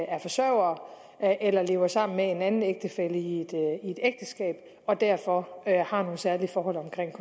er forsørgere eller lever sammen med en anden ægtefælle i et ægteskab og derfor har nogle særlige forhold omkring